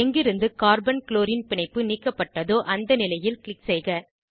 எங்கிருந்து carbon chlorine பிணைப்பு நீக்கப்பட்டதோ அந்த நிலையில் க்ளிக் செய்க